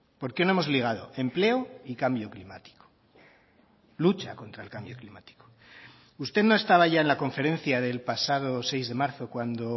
por qué no hemos ligado empleo y cambio climático lucha contra el cambio climático usted no estaba ya en la conferencia del pasado seis de marzo cuando